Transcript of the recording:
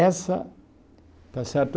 Essa, está certo?